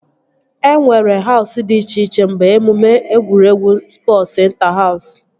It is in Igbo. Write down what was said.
E nwere Hausụ dị iche iche mgbe emume egwuregwu spọsu ịnta-haus